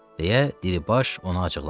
Deyə Dilibaş ona acıqlandı.